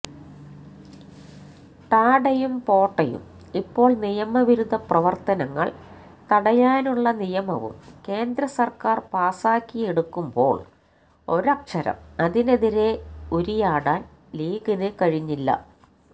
ടാഡയും പോട്ടയും ഇപ്പോള് നിയമവിരുദ്ധ പ്രവര്ത്തനങ്ങള് തടയാനുള്ള നിയമവും കേന്ദ്രസര്ക്കാര് പാസ്സാക്കിയെടുക്കുമ്പോള് ഒരക്ഷരം അതിനെതിരെ ഉരിയാടാന് ലീഗിന് കഴിഞ്ഞില്ല